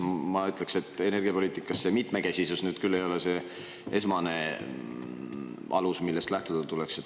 Ma ütleks, et energiapoliitikas mitmekesisus nüüd küll ei ole esmane alus, millest lähtuda tuleks.